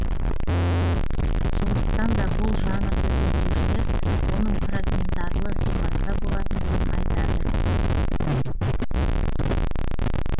сондықтан да бұл жанрды зерттеушілер оның фрагментарлы сипатта болатындығын айтады